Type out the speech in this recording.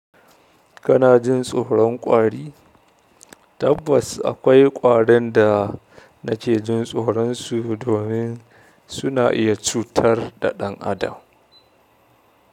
Kana jin tsoron ƙwari? Tabbas akwai ƙwaran da nake jin tsoron su domin suna iya cutar da ɗan adam.